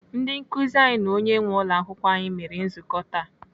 Ndị nkụzi anyị na onye nwee ụlọakwụkwọ anyị mere nzukọ taa.